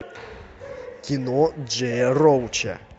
кино джея роуча